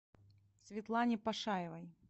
светлане пашаевой